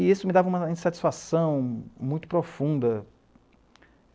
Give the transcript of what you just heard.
E isso me dava uma insatisfação muito profunda.